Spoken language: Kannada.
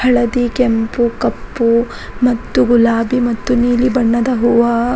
ಹಳದಿ ಕೆಂಪು ಕಪ್ಪು ಮತ್ತು ಗುಲಾಬಿ ಮತ್ತು ನೀಲಿ ಬಣ್ಣದ ಹೂವ --